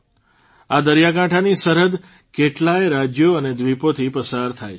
આ દરિયાકાંઠાની સરહદ કેટલાય રાજ્યો અને દ્વીપોથી પસાર થાય છે